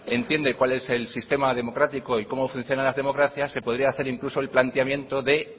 entiende cuál es el sistema democrático y cómo funciona las democracias se podría hacer incluso el planteamiento de